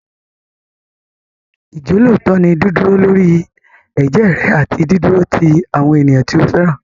Ìjọ́lóòótọ́ ni dídúró lórí ẹ̀jẹ́ rẹ àti dídúró ti àwọn ènìyàn tí o fẹ́ràn.